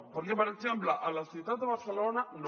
perquè per exemple a la ciutat de barcelona no